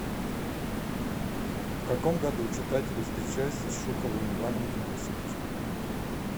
в каком году читатели встречаются с шуховым иваном денисовичем